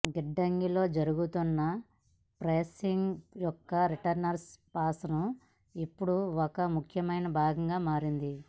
గిడ్డంగిలో జరుగుతున్న ప్రాసెసింగ్ యొక్క రిటర్న్స్ ప్రాసెస్ ఇప్పుడు ఒక ముఖ్యమైన భాగంగా మారింది